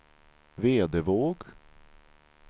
Vedevåg